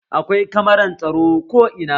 Akwai kamaran tsaro ko ina